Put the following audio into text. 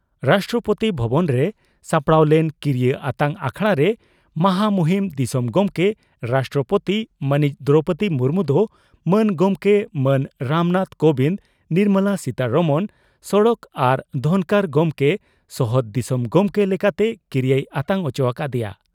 ᱨᱟᱥᱴᱨᱚᱯᱳᱛᱤ ᱵᱷᱚᱵᱚᱱ ᱨᱮ ᱥᱟᱯᱲᱟᱣ ᱞᱮᱱ ᱠᱤᱨᱤᱭᱟᱹ ᱟᱛᱟᱝ ᱟᱠᱷᱲᱟ ᱨᱮ ᱢᱟᱦᱟ ᱢᱩᱦᱤᱱ ᱫᱤᱥᱚᱢ ᱜᱚᱢᱠᱮ (ᱨᱟᱥᱴᱨᱚᱯᱳᱛᱤ) ᱢᱟᱹᱱᱤᱡ ᱫᱨᱚᱣᱯᱚᱫᱤ ᱢᱩᱨᱢᱩ ᱫᱚ ᱢᱟᱱ ᱜᱚᱢᱠᱮ ᱢᱟᱱ ᱨᱟᱢᱱᱟᱛᱷ ᱠᱚᱵᱤᱱᱫᱽ ᱱᱚᱨᱢᱚᱞᱟ ᱥᱤᱛᱟᱨᱟᱢᱚᱱ ᱥᱚᱲᱚᱠ ᱟᱨ ᱫᱷᱚᱱᱠᱚᱨ ᱜᱚᱢᱠᱮ ᱥᱚᱦᱚᱫ ᱫᱤᱥᱚᱢ ᱜᱚᱢᱠᱮ ᱞᱮᱠᱟᱛᱮ ᱠᱤᱨᱤᱭᱟᱹᱭ ᱟᱛᱟᱝ ᱚᱪᱚ ᱟᱠᱟᱫᱮᱭᱟ ᱾